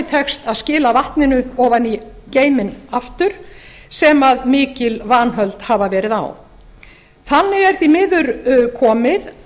tekst að skila vatninu ofan í geyminn aftur sem mikil vanhöld hafa verið á þannig er því miður komið